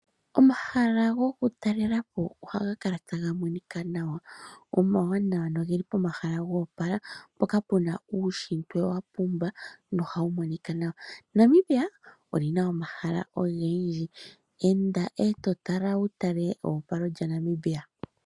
Omahala goku ltalela po ohaga kala taga monika nawa, omawanawa noge li pomahala go opala, mpoka pu na uunshitwe wa pumba noha wu monika nawa. Namibia oli na omahala ovendji . Enda e to tala wu tale eopalo lyaNamibia.